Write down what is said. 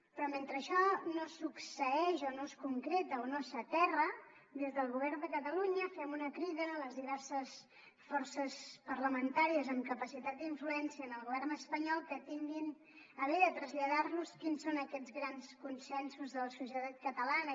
però mentre això no succeeix o no es concreta o no s’aterra des del govern de catalunya fem una crida a les diverses forces parlamentàries amb capacitat d’influència en el govern espanyol que tinguin a bé de traslladar los quins són aquests grans consensos de la societat catalana